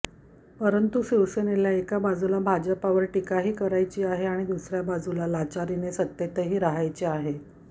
परंतु शिवसेनेला एका बाजूला भाजपावर टीकाही करायची आहे आणि दुसर्या बाजूला लाचारीने सत्तेतही रहायचे आहे